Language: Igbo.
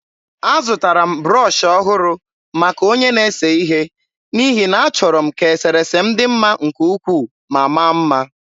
Azụtara m brọsh ọhụrụ maka onye na-ese ihe n’ihi na achọrọ m ka eserese m dị mma nke ukwuu ma maa mma.